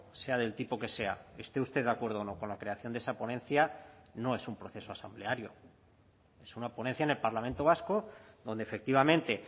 sea del tipo que sea esté usted de acuerdo o no con la creación de esa ponencia no es un proceso asambleario es una ponencia en el parlamento vasco donde efectivamente